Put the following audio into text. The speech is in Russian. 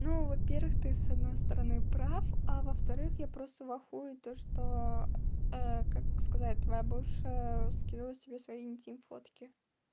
ну во-первых ты с одной стороны прав а во-вторых я просто в ахуе то что как сказать твоя бывшая скинула тебе свои интим фотки